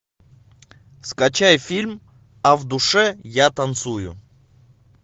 скачай фильм а в душе я танцую